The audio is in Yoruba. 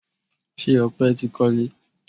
Ṣé Ọpẹ tí kọle?